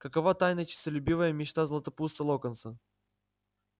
какова тайная честолюбивая мечта златопуста локонса